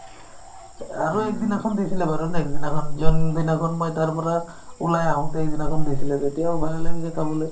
আৰু একদিনাখন দিছিলে বাৰু next দিনাখন যোনদিনাখন মই তাৰ পৰা ওলাই আহোতে সেইদিনাখন দিছিলে তেতিয়াও ভাল লাগিছে খাবলৈ